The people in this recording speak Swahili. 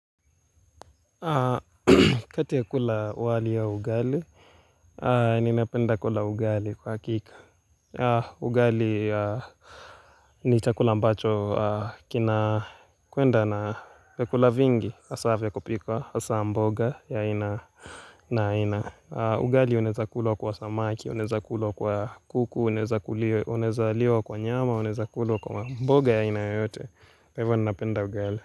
Kati ya kula wali ya ugali, ninapenda kula ugali kwa hakika. Ugali ni chakula ambacho kinakwenda na vyakula vingi, hasa vya kupika, hasa mboga ya aina na aina. Ugali unaweza kula kwa samaki, unaeza kula kwa kuku, unaeza liwa kwa nyama, unaeza kulwa kwa mboga ya aina yoyote. Hivyo ninapenda ugali.